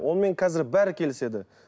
онымен қазір бәрі келіседі